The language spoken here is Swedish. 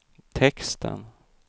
texten